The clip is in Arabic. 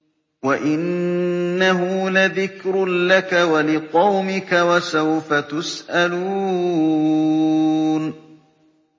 وَإِنَّهُ لَذِكْرٌ لَّكَ وَلِقَوْمِكَ ۖ وَسَوْفَ تُسْأَلُونَ